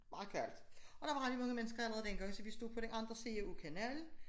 Meget koldt og der var rigtig mange mennesker allerede den gang så vi stod på den anden side af kanalen